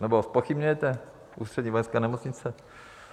Nebo zpochybňujete Ústřední vojenskou nemocnici?